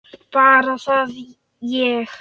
Bara það að ég.